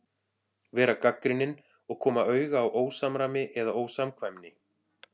Vera gagnrýnin og koma auga á ósamræmi eða ósamkvæmni.